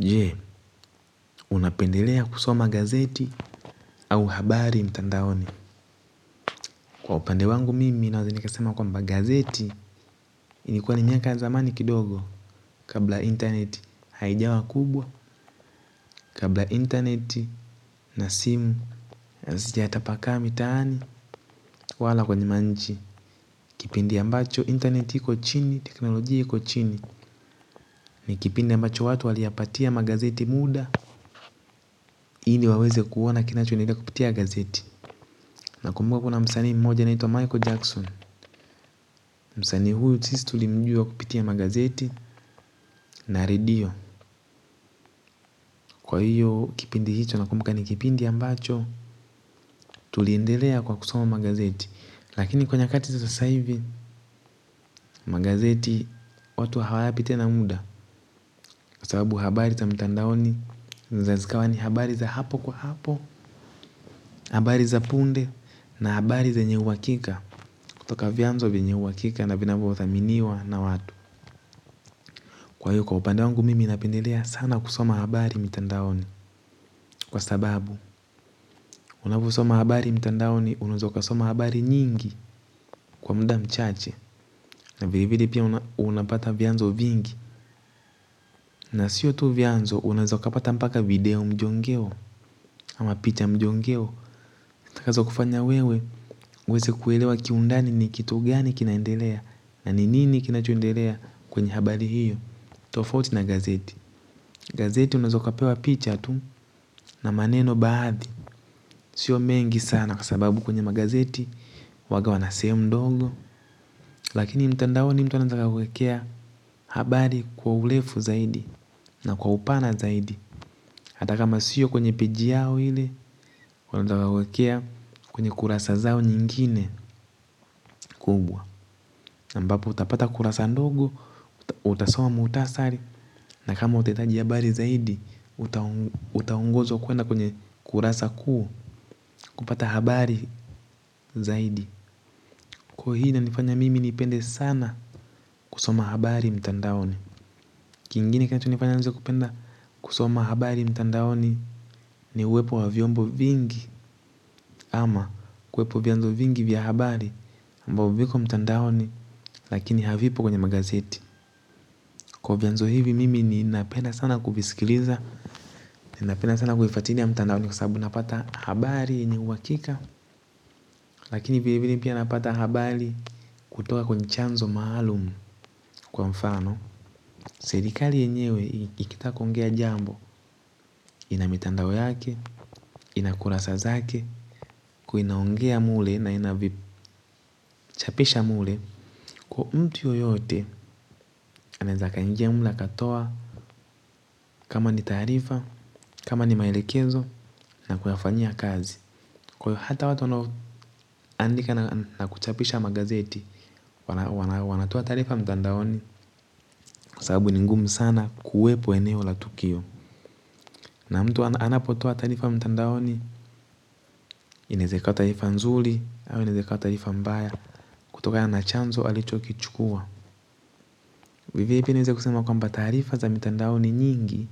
Je, unapendelea kusoma gazeti au habari mtandaoni kwa upande wangu mimi naweza nikasema kwamba gazeti. Ilikuwa ni miaka ya zamani kidogo kabla internet haijawa kubwa. Kabla internet na simu hazijatapakaa mitaani wala kwenye manchi. Kipindi ambacho internet iko chini, teknolojia iko chini. Ni kipindi ambacho watu waliyapatia magazeti muda ili waweze kuona kinachoendelea kupitia gazeti. Nakumbuka kuna msaani mmoja anaitwa Michael Jackson. Msanii huyu sisi tulimjua kupitia magazeti na redio. Kwa hiyo kipindi hicho nakumbuka ni kipindi ambacho tuliendelea kwa kusoma magazeti lakini kwa nyakati za sasa hivi magazeti watu hawayapi tena muda kwa sababu habari za mitandaoni zinaweza zikawa ni habari za hapo kwa hapo. Habari za punde na habari zenye uhakika kutoka vyanzo vyenye uhakika na vinavyothaminiwa na watu kwa hiyo kwa upande wangu mimi napendelea sana kusoma habari mitandaoni kwa sababu unavyosoma habari mtandaoni unaweza ukasoma habari nyingi kwa muda mchache. Na vilevile pia unapata vyanzo vingi. Na siyo tu vyanzo unaweza ukapata mpaka video mjongeo ama picha mjongeo zitakazokufanya wewe uweze kuelewa kiundani ni kitu gani kinaendelea na ni nini kinachoendelea kwenye habari hiyo. Tofauti na gazeti gazeti unaweza ukapewa picha tu na maneno baadhi. Siyo mengi sana kwa sababu kwenye magazeti huwanga wana sehemu ndogo. Lakini mtandaoni mtu anaweza akakuwekea habari kwa urefu zaidi na kwa upana zaidi hata kama siyo kwenye peji yao ile wanaweza wakakuwekea kwenye kurasa zao nyingine kubwa ambapo utapata kurasa ndogo. Utasoma muhtasari na kama utahitaji habari zaidi. Utaongozwa kwenda kwenye kurasa kuu. Kupata habari zaidi kwa hii inanifanya mimi nipende sana. Kusoma habari mtandaoni kingine kinachonifanya nianze kupenda kusoma habari mtandaoni ni uwepo wa vyombo vingi ama uwepo wa vyanzo vingi vya habari ambapo viko mtandaoni lakini havipo kwenye magazeti kwa vyanzo hivi mimi ninapenda sana kuvisikiliza ninapenda sana kufuatilia mtandaoni kwa sababu napata habari yenye uhakika. Lakini vilevile pia napata habari kutoka kwenye chanzo maalumu kwa mfano serikali yenyewe ikitaka kuongea jambo ina mitandao yake, ina kurasa zake kwa hiyo inaongea mle na ina vipi chapisha mle kwa mtu yoyote anaweza akaingia mle akatoa kama ni taarifa, kama ni maelekezo na kuyafanyia kazi kwa hiyo hata watu wanaoandika na kuchapisha magazeti wanatoa taarifa mtandaoni kwa sababu ni ngumu sana kuwepo eneo la tukio. Na mtu anapotoa taarifa mtandaoni inaweza ikawa taarifa nzuri au inaweza ikawa taarifa mbaya kutokana na chanzo alichokichukua. Ni vizuri pia niweze kusema kwamba taarifa za mitandaoni nyingi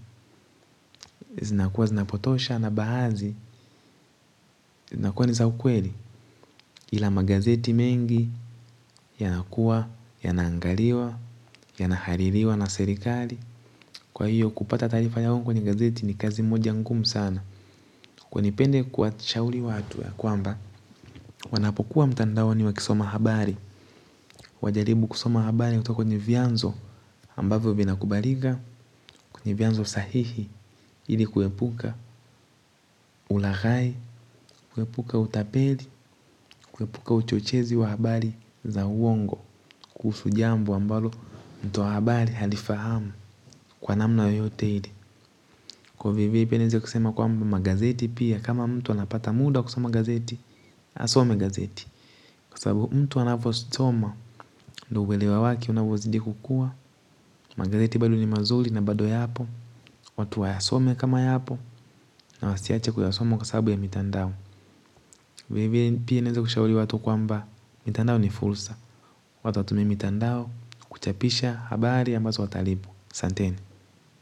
zinakuwa zinapotosha na baadhi zinakuwa ni za ukweli. Ila magazeti mengi yanakuwa, yanaangaliwa, yanahaririwa na serikali. Kwa hiyo kupata taarifa ya uongo kwenye gazeti ni kazi moja ngumu sana. Nipende kuwashauri watu ya kwamba wanapokuwa mtandaoni wakisoma habari wajaribu kusoma habari kutoka kwenye vyanzo ambavyo vinakubalika kwenye vyanzo sahihi ili kuepuka ulaghai, kuepuka utapeli, kuepuka uchochezi wa habari za uongo. Kuhusu jambo ambalo mtoa habari halifahamu kwa namna yoyote ile kwa hivyo hivyo pia niweze kusema kwamba magazeti pia kama mtu anapata muda wa kusoma gazeti asome gazeti kwa sababu mtu anavyosoma ndiyo uelewa wake unavyozidi kukua. Magazeti bado ni mazuri na bado yapo. Watu wayasome kama yapo. Na wasiache kuyasoma kwa sababu ya mitandao. Vilevile pia niweze kushauri watu kwamba mitandao ni fursa watu watumie mitandao kuchapisha habari ambazo watalipwa asanteni.